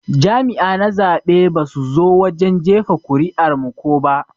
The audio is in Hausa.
Jami'a na zaɓe basu zo wajen jefa kuri'ar mu ko ba.